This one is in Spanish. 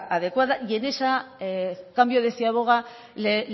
adecuada y en ese cambio de ciaboga la